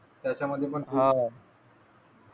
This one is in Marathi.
त्याच्यामधी पण